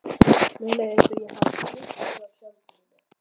Mér leið eins og ég hefði flutt frá sjálfri mér.